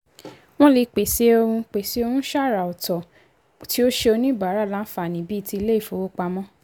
wọ́n lè pèsè ohun pèsè ohun ṣàrà ọ̀tọ̀ tí ó ṣe oníbàárà láǹfààní bíi ti ilé-ifowópamọ́.